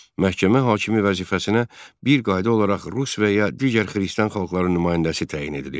Məhkəmə hakimi vəzifəsinə bir qayda olaraq rus və ya digər xristian xalqların nümayəndəsi təyin edilirdi.